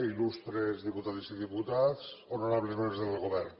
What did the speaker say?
il·lustres diputades i diputats honorables membres del govern